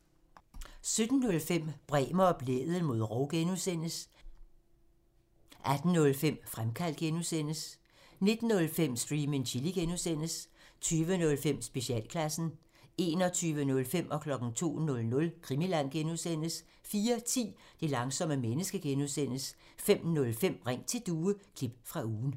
17:05: Bremer og Blædel mod rov (G) 18:05: Fremkaldt (G) 19:05: Stream and Chill (G) 20:05: Specialklassen 21:05: Krimiland (G) 02:00: Krimiland (G) 04:10: Det langsomme menneske (G) 05:05: Ring til Due – klip fra ugen